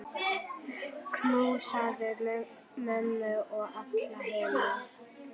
Knúsaðu mömmu og alla hina.